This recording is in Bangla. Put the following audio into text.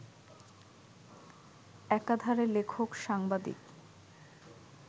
একাধারে লেখক, সাংবাদিক